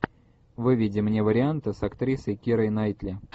выведи мне варианты с актрисой кирой найтли